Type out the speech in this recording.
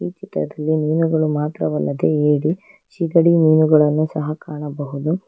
ಈ ಚಿತ್ರದಲ್ಲಿ ಮೀನುಗಳು ಮಾತ್ರವಲ್ಲದೆ ಹೇಡಿ ಸಿಗಡಿ ಮೀನುಗಳನ್ನು ಸಹ ಕಾಣಬಹುದು.